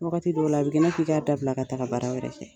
Wagati dɔw la a bi kɛ i n'a fƆ k'a dabila ka taga baara wɛrɛ kɛ.